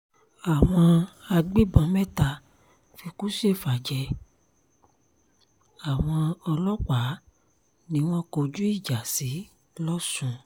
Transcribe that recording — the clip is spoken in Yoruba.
àwọn agbébọn mẹ́ta fikú ṣèfà-jẹ àwọn ọlọ́pàá ni wọ́n kọjú ìjà sí lọ́sùn